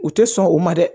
U tɛ sɔn o ma dɛ